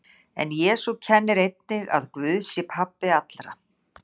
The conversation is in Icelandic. En Jesú kennir einnig að Guð sé pabbi allra.